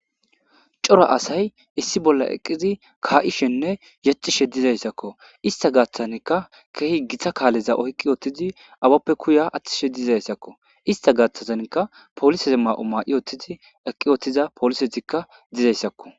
Cora asay issi bolla eqqizi kaa'ishenne yacishe dizayssakko ista gaaththanka keehi githa kaaleza oykqi ootizi awappe kuya aththishe dizayssakko ista gaaththazanka poliseze ma'o ma'i oothtizi eqqi oothtiza poolisetikka dizayssakko.